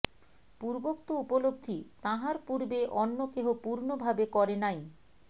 পূর্বোক্ত উপলব্ধি তাঁহার পূর্বে অন্য কেহ পূর্ণভাবে করে নাই